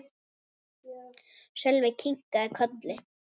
Sölvi kinkaði kolli.